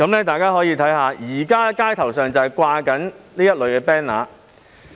大家可以看看，現時街頭正在懸掛這類 banner。